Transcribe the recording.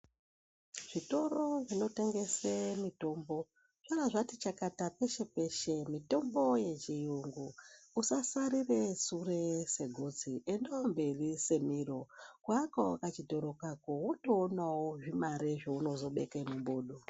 Zvitoro zvinotengese mitombo zvabaati chakati peshe peshe. Mitombo yechiyungu. Usasarira sure segotsi, endawo mberi semiro kuaka wo kachitoro kako wotoonawo zvimare zveunozobeka mumbodo.